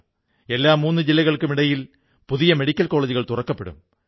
ഓരോ മൂന്നു ജില്ലയ്ക്കും ഒരോ പുതിയ മെഡിക്കൽ കോളജുകൾ തുറക്കപ്പെടും